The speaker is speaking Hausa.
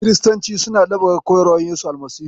Kiristanci suna ɗabbaƙa koyarwa Yesu Almasihu.